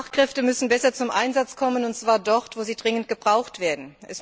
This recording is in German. Fachkräfte müssen besser zum Einsatz kommen, und zwar dort, wo sie dringend gebraucht werden.